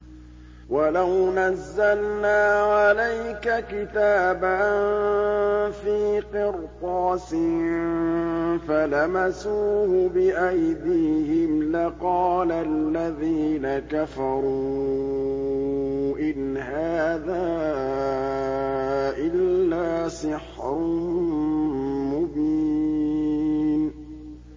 وَلَوْ نَزَّلْنَا عَلَيْكَ كِتَابًا فِي قِرْطَاسٍ فَلَمَسُوهُ بِأَيْدِيهِمْ لَقَالَ الَّذِينَ كَفَرُوا إِنْ هَٰذَا إِلَّا سِحْرٌ مُّبِينٌ